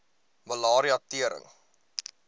malaria tering